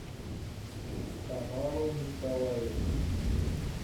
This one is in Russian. тамару николаевну